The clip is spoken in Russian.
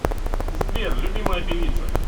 сбер любимая певица